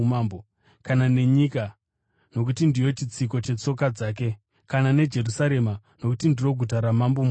kana nenyika nokuti ndiyo chitsiko chetsoka dzake; kana neJerusarema nokuti ndiro guta raMambo Mukuru.